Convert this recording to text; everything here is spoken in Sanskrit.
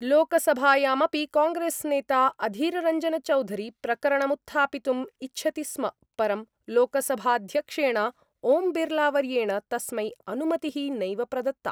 लोकसभायामपि कांग्रेस्नेता अधीररञ्जनचौधरी प्रकरणमुत्थापितुम् इच्छति स्म परं लोकसभाध्यक्षेण ओम्बिर्लावर्येण तस्मै अनुमतिः नैव प्रदत्ता।